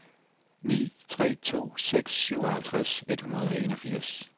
ni tre to seks syvogtres et hundrede og enogfirs